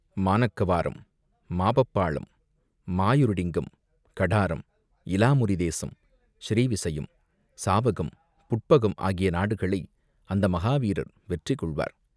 மாநக்கவாரம், மாபப்பாளம், மாயிருடிங்கம், கடாரம், இலாமுரி தேசம், ஸ்ரீவிசயம், சாவகம், புட்பகம் ஆகிய நாடுகளை அந்த மகா வீரர் வெற்றி கொள்வார்.